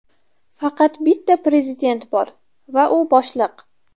Faqat bitta prezident bor va u boshliq.